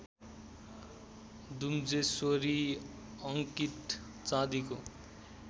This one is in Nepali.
दुमजेश्वरी अङ्कित चाँदीको